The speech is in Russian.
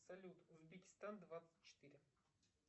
салют узбекистан двадцать четыре